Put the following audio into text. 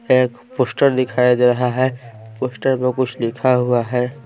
एक पोस्टर दिखाई दे रहा है पोस्टर पर कुछ लिखा हुआ है।